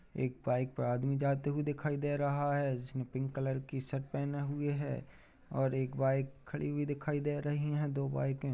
एक बाइक पर आदमी जाते हुए दिखाई दे रहा है जिसने पिंक कलर की शर्ट पहने हुए है और एक बाइक खड़ी हुई दिखाई दे रही है दो बाइक है ।